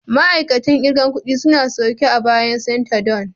Ma'aikatan kirgan ƙudi sune suke a bayan canter don